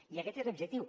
i aquest és l’objectiu